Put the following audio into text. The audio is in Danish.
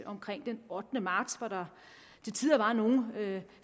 omkring den ottende marts hvor der til tider var nogle